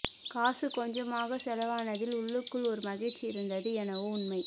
காசு கொஞ்சமாக செலவானதில் உள்ளுக்குள் ஒரு மகிழ்ச்சி இருந்தது என்னவோ உண்மை